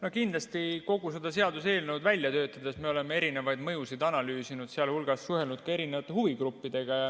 No kindlasti kogu seda seaduseelnõu välja töötades me oleme erinevaid mõjusid analüüsinud, sh suhelnud ka erinevate huvigruppidega.